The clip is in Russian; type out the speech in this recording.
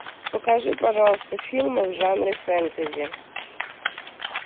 покажи пожалуйста фильмы в жанре фэнтези